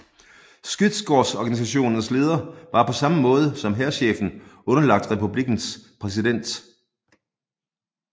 Skyddskårsorganisationens leder var på samme måde som hærchefen underlagt republikkens præsident